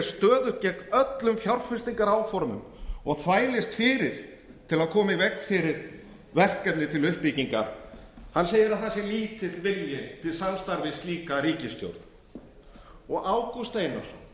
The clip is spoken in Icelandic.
stöðugt gegn öllum fjárfestingaráformum og þvælist fyrir til að koma í veg fyrir verkefni til uppbyggingar hann segir að það sé lítill vilji til samstarfs við slíka ríkisstjórn ágúst einarsson